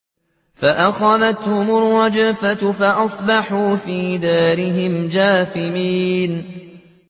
فَأَخَذَتْهُمُ الرَّجْفَةُ فَأَصْبَحُوا فِي دَارِهِمْ جَاثِمِينَ